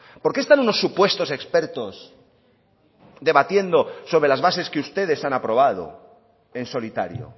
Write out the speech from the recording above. por qué están unos supuestos expertos debatiendo sobre las bases que ustedes han aprobado en solitario